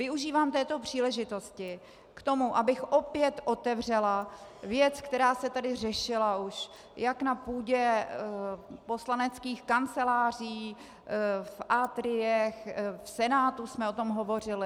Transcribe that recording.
Využívám této příležitosti k tomu, abych opět otevřela věc, která se tady řešila už jak na půdě poslaneckých kanceláří, v atriích, v Senátu jsme o tom hovořili.